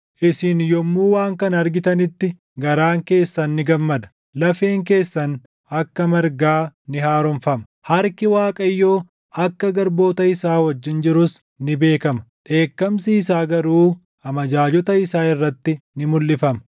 Isin yommuu waan kana argitanitti garaan keessan ni gammada; lafeen keessan akka margaa ni haaromfama; harki Waaqayyoo akka garboota isaa wajjin jirus ni beekama; dheekkamsi isaa garuu amajaajota isaa irratti ni mulʼifama.